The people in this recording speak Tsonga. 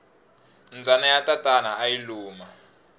mbyana ya tatana ayi luma